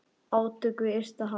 Átök við ysta haf.